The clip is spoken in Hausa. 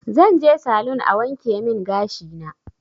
Zanje salun a wankemin gashina